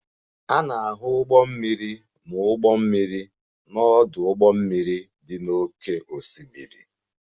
A na-ahụ ụgbọ mmiri na ụgbọ mmiri n'ọdụ ụgbọ mmiri dị n'oké osimiri.